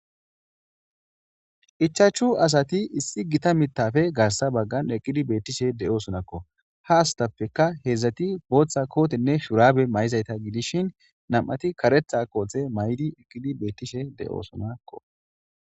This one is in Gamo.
Ichaachchu asati issi gita mitaafe garssa baggan eqqidi beettishe de7osonakko. Ha astappeKka heedzdzati booththa kootenne shuraabe ma7izayta gidishin nam7ati karetha koothe mayidi eqqidi beettishe de7oosonakko.